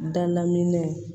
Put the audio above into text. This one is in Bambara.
Dalaminɛnw